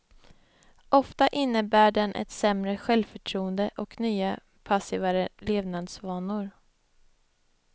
Ofta innebär den ett sämre självförtroende och nya, passivare levnadsvanor.